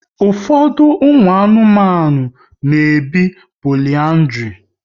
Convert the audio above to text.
Ụfọdụ ụmụ anụmanụ na ebi poliandri